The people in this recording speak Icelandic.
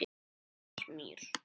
Í Kasmír